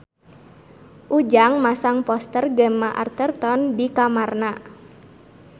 Ujang masang poster Gemma Arterton di kamarna